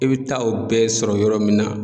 E be taa o bɛɛ sɔrɔ yɔrɔ min na